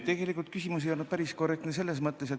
Tegelikult ei olnud küsimus päris korrektne.